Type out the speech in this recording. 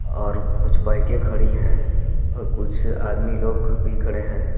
और कुछ बाइके खड़ी हैं और कुछ आदमी लोग भी खड़े हैं.